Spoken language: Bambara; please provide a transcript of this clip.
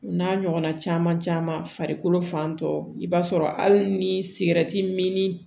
N'a ɲɔgɔnna caman caman farikolo fan tɔ i b'a sɔrɔ hali ni sigɛriti min ni